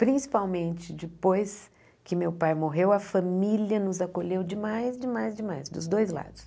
Principalmente depois que meu pai morreu, a família nos acolheu demais, demais, demais, dos dois lados.